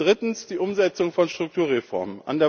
Und drittens die Umsetzung von Strukturreformen.